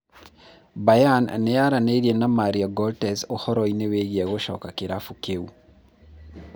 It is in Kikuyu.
Bayern nĩyaranĩirie na Mario Gotze ũhoro wĩĩgiĩ gũcoka kĩrabu kĩu